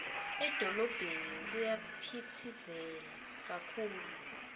edolobheni kuyaphitsitela kakhulu